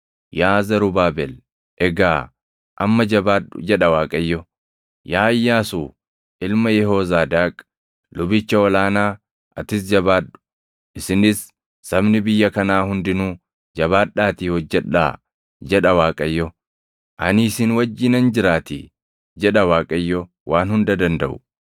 Yaa Zarubaabel, egaa amma jabaadhu’ jedha Waaqayyo. ‘Yaa Iyyaasuu ilma Yehoozaadaaq lubicha ol aanaa atis jabaadhu. Isinis sabni biyya kanaa hundinuu jabaadhaatii hojjedhaa’ jedha Waaqayyo. ‘Ani isin wajjinan jiraatii’ jedha Waaqayyo Waan Hunda Dandaʼu.